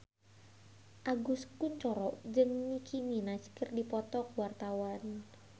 Agus Kuncoro jeung Nicky Minaj keur dipoto ku wartawan